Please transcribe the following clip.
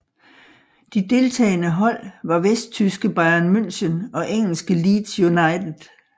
De deltagende hold var vesttyske Bayern München og engelske Leeds United